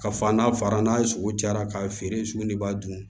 Ka fa n'a fara n'a ye sogo jara k'a feere sugunɛ b'a dun